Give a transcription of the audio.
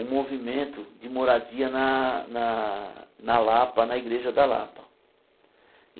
um movimento de moradia na na na Lapa, na igreja da Lapa.